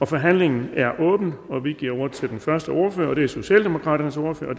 forhandlingen er åbnet og vi giver ordet til den første ordfører og det er socialdemokratiets ordfører